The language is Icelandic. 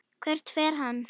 Hvert fer hann?